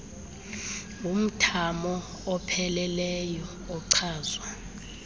ngumthamo opheleleyo ochazwa